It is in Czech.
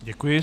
Děkuji.